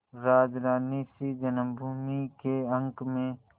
राजरानीसी जन्मभूमि के अंक में